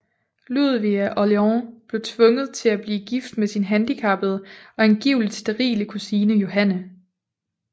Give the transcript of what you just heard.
Ludvig af Orléans blev tvunget til at blive gift med sin handicappede og angiveligt sterile kusine Johanne